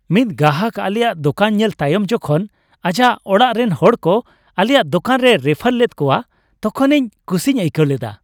ᱢᱤᱫ ᱜᱟᱦᱟᱠ ᱟᱞᱮᱭᱟᱜ ᱫᱳᱠᱟᱱ ᱧᱮᱞ ᱛᱟᱭᱚᱢ ᱡᱚᱠᱷᱚᱱ ᱟᱡᱟᱜ ᱚᱲᱟᱜ ᱨᱮᱱ ᱦᱚᱲ ᱠᱚ ᱟᱞᱮᱭᱟᱜ ᱫᱳᱠᱟᱱ ᱨᱮᱭ ᱨᱮᱯᱷᱟᱨ ᱞᱮᱫ ᱠᱚᱣᱟ ᱛᱚᱠᱷᱚᱱ ᱤᱧ ᱠᱤᱩᱥᱤᱧ ᱟᱹᱭᱠᱟᱹᱣ ᱞᱮᱫᱟ ᱾